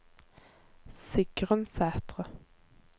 Sigrun Sæthre